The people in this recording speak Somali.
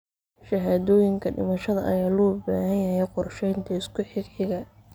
Shahaadooyinka dhimashada ayaa loo baahan yahay qorsheynta isku xigxiga.